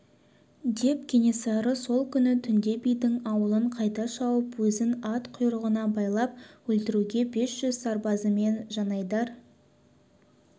деп кенесары сол күні түнде бидің аулын қайта шауып өзін ат құйрығына байлап өлтіруге бес жүз сарбазымен жанайдар